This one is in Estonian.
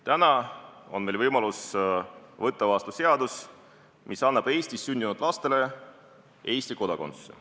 Täna on meil võimalus võtta vastu seadus, mis annab Eestis sündinud lastele Eesti kodakondsuse.